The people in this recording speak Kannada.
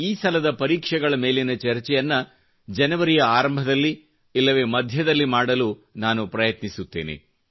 ಈ ಸಲದ ಪರಿಕ್ಷೆಗಳ ಮೇಲಿನ ಚರ್ಚೆಯನ್ನು ಜನೇವರಿ ಯ ಆರಂಭದಲ್ಲಿ ಇಲ್ಲವೆ ಮಧ್ಯದಲ್ಲಿ ಮಾಡಲು ನಾನು ಪ್ರಯತ್ನಿಸಿತ್ತೇನೆ